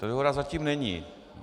Ta dohoda zatím není.